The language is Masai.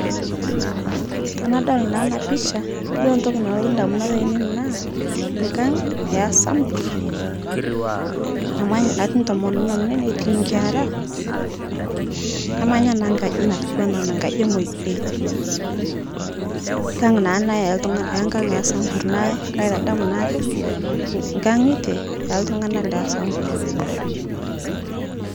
Tanadol naa ana pisha, yiolo ntoki nalotu ndamunot ainen naa nkang' esamburr, namanya natii ntomononj netii nkera, namanya naa nkaji natiuwana ana nkaji emoidei, nkang' naa ana eltung'an ee nkang' esamburr naa kaitadamu naake, nkang'ite eltung'ana lesamburr